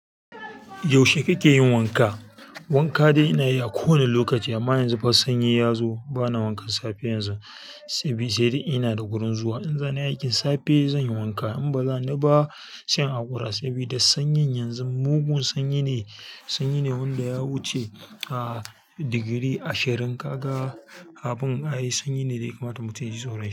Yaushe kike yin wanka? Wanka dai ina yi a kowane lokaci amma yanzu sanyi ya zo bana wanka safe yanzu. Sedai inada gurin zuwa in za ni aikin safe zan yi wanka in ba za ni ba, se in haƙura saboda sanyin yanzu mugun sanyi ne. Sanyi ne wanda ya wuce a digiri ashirin. Kaga abun ae sanyi ne da yakama ta mutum yaji tsoran shi.